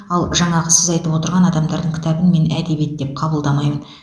ал жаңағы сіз айтып отырған адамдардың кітабын мен әдебиет деп қабылдамаймын